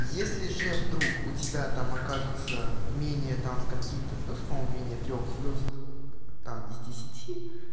если же вдруг у тебя там окажется менее там скольки-то звёзд по-моему менее трёх звёзд там из десяти